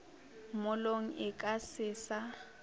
mollong e ka se sa